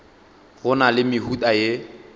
go na le mehuta ye